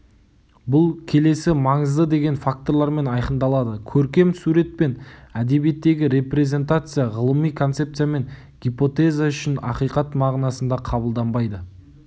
бұл келесі маңызды деген факторлармен айқындалады көркем сурет пен әдебиеттегі репрезентация ғылыми концепция мен гипотеза үшін ақиқат мағынасында қабылданбайды